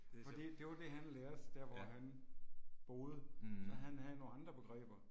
Det er sjovt. Ja. Hm